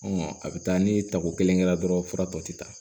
A bɛ taa ni tako kelen kɛra dɔrɔn fura tɔ tɛ taa